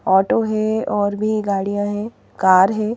Auto है और भी गाड़ियां हैं कार है.